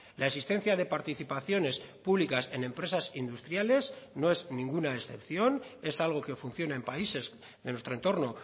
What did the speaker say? la existencia de participaciones públicas en empresas industriales no es ninguna excepción es algo que funciona en países de nuestro entorno